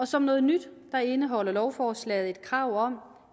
som noget nyt indeholder lovforslaget et krav om